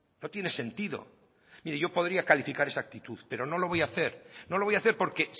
no tiene sentido mire yo podría calificar esa actitud pero no lo voy a hacer no lo voy a hacer porque